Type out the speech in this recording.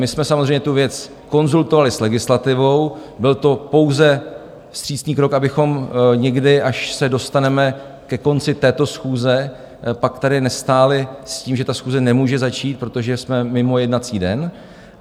My jsme samozřejmě tu věc konzultovali s legislativou, byl to pouze vstřícný krok, abychom někdy, až se dostaneme ke konci této schůze, pak tady nestáli s tím, že ta schůze nemůže začít, protože jsme mimo jednací den.